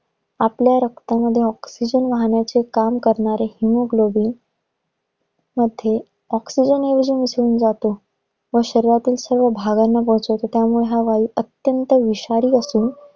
आपल्या रक्तामध्ये oxygen वाहण्याचे काम करणारे hemoglobin मध्ये oxygen मध्ये जेव्हा मिसळून जातो व शरीरातील सर्व भागांना पोहोचवतो, त्यामुळे हा वायू अत्यंत विषारी असून